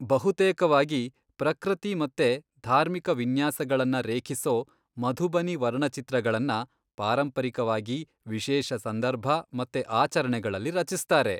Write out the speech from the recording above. ಬಹುತೇಕವಾಗಿ ಪ್ರಕೃತಿ ಮತ್ತೆ ಧಾರ್ಮಿಕ ವಿನ್ಯಾಸಗಳನ್ನ ರೇಖಿಸೋ ಮಧುಬನಿ ವರ್ಣಚಿತ್ರಗಳನ್ನ ಪಾರಂಪರಿಕವಾಗಿ ವಿಶೇಷ ಸಂದರ್ಭ ಮತ್ತೆ ಆಚರಣೆಗಳಲ್ಲಿ ರಚಿಸ್ತಾರೆ.